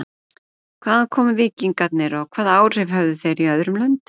Hvaðan komu víkingarnir og hvaða áhrif höfðu þeir í öðrum löndum?